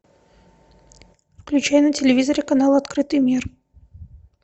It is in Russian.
включай на телевизоре канал открытый мир